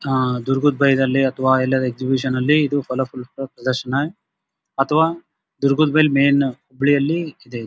ಆಹ್ಹ್ ದುರ್ಗದ್ ಬಾಯಿಗಲ್ಲಿ ಅಥವಾ ಎಕ್ಸಿಬಿಷನ್ ಅಲಿ ಫಲ ಫುಲ್ ಪ್ರದರ್ಶನ ಅಥವಾ ದುರ್ಗದ್ ಬಾಯಿಗಲ್ಲಿ ಮೇನ್ ಹೂಬಳಿ ಅಲ್ಲಿ ಇದೆ ಇದು.